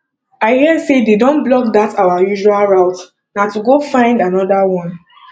i hear say dey don block dat our usual route na to go find another one